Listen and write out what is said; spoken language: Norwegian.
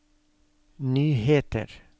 nyheter